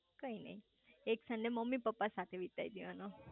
કઈ નઈ એક સન્ડે મમ્મી પપ્પા સાથે વિતાઈ દેવાનો